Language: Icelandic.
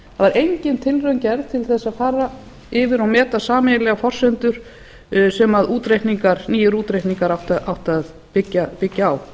það var engin tilraun gerð til að fara yfir og meta sameiginlegar forsendur sem nýir útreikningar áttu að byggja á